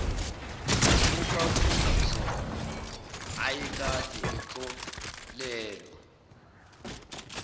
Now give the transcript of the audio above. okwakuyizona ayekade ekholelwa